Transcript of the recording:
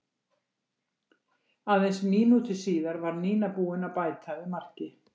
Aðeins mínútu síðar var Nína búin að bæta við marki.